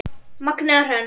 Magnea Hrönn.